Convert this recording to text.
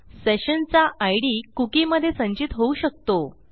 session चा ID cookie मधे संचित होऊ शकतो